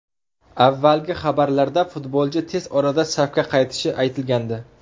Avvalgi xabarlarda futbolchi tez orada safga qaytishi aytilgandi.